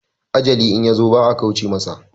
Ajali in yazo ba a kauce masa